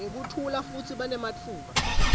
ngekuthula futsi banematfuba